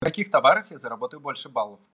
в каких товарах я заработаю больше баллов